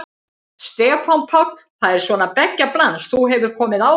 Stefán Páll: Það er svona beggja blands, þú hefur komið áður?